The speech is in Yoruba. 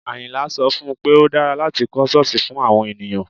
Àyìnlá sọ fún un pé ó dára láti kọ́ ṣọ́ọ̀sì fún àwọn ènìyàn